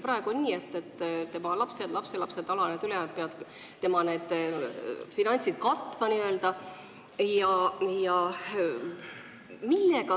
Praegu on nii, et lapsed, lapselapsed, alanejad-ülenejad sugulased peavad vanainimese kulud katma.